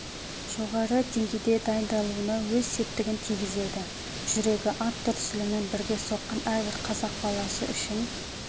жоғары деңгейде дайындалуына өз септігін тигізеді жүрегі ат дүрсілімен бірге соққан әрбір қазақ баласы үшін